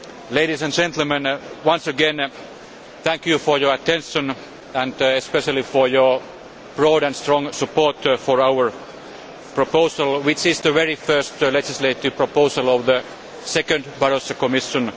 work. Ladies and gentlemen, once again, thank you for your attention and especially for your broad and strong support for our proposal, which is the very first legislative proposal of the second Barroso Commission.